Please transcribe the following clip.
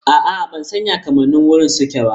A'a ban san ya kamannin wuri suke ba.